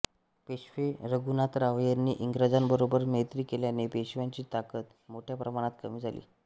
पेशवे रघुनाथराव यांनी इंग्रजांबरोबर मैत्री केल्याने पेशव्यांची ताकद मोठ्या प्रमाणात कमी झाली